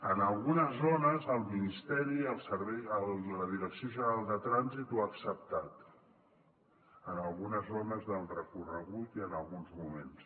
en algunes zones el ministeri la direcció general de trànsit ho ha acceptat en algunes zones del recorregut i en alguns moments